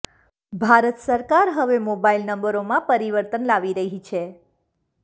ભારત સરકાર હવે મોબાઇલ નંબરોમાં પરિવર્તન લાવી રહી છે